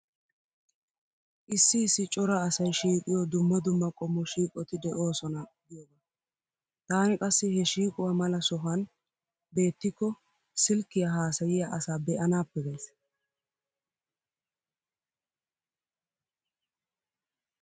Issi issi cora asay shiiqiyo dumma dumma qommo shiiqoti de'oosona giyoogaa. Taani qassi he shiiquwa mala sohan beettikko silkkiya haasayiya asaa be'anaappe gays.